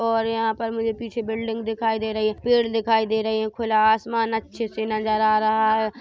--और यंहा पर मुझे पीछे बिल्डिंग दिखाई दे रही है पेड़ दिखाई दे रहे है खुला आसमान अच्छे से नज़र आ रहा है।